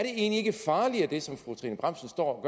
det som fru trine bramsen står